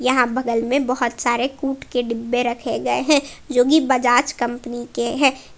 यहां बगल में बहुत सारे कुट के डिब्बे रखे गए हैं जो की बजाज कंपनी के हैं।